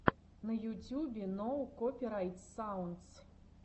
на ютюбе ноу копирайт саундс